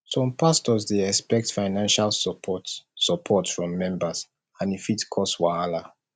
some pastors dey expect financial support support from members and e fit cause wahala